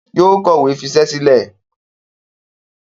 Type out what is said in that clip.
Yóò kọ̀wé fisẹ́ sílẹ̀.